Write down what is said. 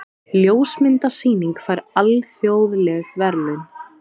Ljósmyndasýning fær alþjóðleg verðlaun